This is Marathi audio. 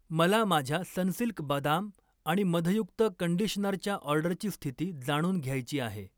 मला माझ्या सनसिल्क बदाम आणि मधयुक्त कंडिशनरच्या ऑर्डरची स्थिती जाणून घ्यायची आहे.